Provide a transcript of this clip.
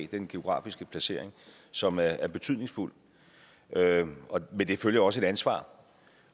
den geografiske placering som er betydningsfuld og med det følger også et ansvar